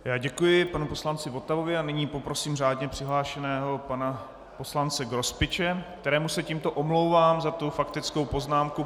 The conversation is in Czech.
Já děkuji panu poslanci Votavovi a nyní poprosím řádně přihlášeného pana poslance Grospiče, kterému se tímto omlouvám za tu faktickou poznámku.